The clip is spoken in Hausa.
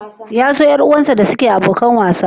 Ya so ƴar uwarsa da suke abokan wasa?